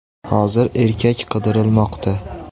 Hozir erkak qidirilmoqda.